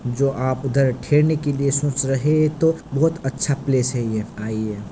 जो आप उधर ठहरने के लिए सोच रहे है तो यह बहुत अच्छा प्लेस है --